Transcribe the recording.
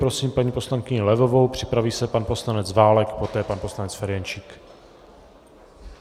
Prosím paní poslankyni Levovou, připraví se pan poslanec Válek, poté pan poslanec Ferjenčík.